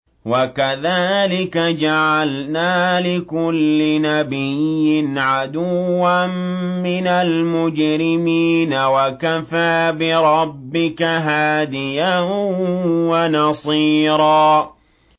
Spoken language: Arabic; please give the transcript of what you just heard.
وَكَذَٰلِكَ جَعَلْنَا لِكُلِّ نَبِيٍّ عَدُوًّا مِّنَ الْمُجْرِمِينَ ۗ وَكَفَىٰ بِرَبِّكَ هَادِيًا وَنَصِيرًا